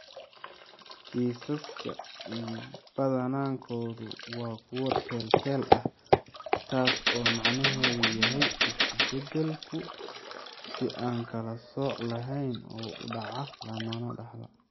Kiisaska badankoodu waa kuwo teel-teel ah, taas oo macnaheedu yahay isu-beddelku si aan kala sooc lahayn u dhaca, lamana dhaxlo.